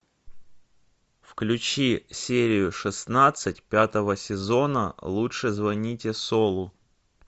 включи серию шестнадцать пятого сезона лучше звоните солу